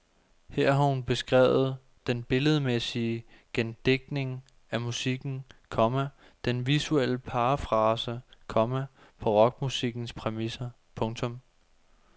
Her har hun beskrevet den billedmæssige gendigtning af musikken, komma den visuelle parafrase, komma på rockmusikkens præmisser. punktum